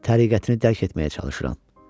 Təriqətini dərk etməyə çalışıram.